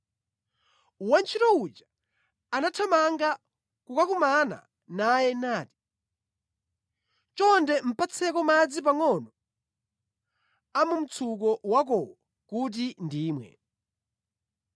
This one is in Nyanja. Wantchito uja anathamanga kukakumana naye nati, “Chonde patseko madzi pangʼono a mu mtsuko wakowo kuti ndimwe.”